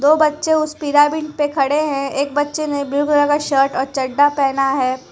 दो बच्चे उस पिरामिड पे खड़े हैं एक बच्चे ने ब्लू कलर का शर्ट और चड्ढा पहना है।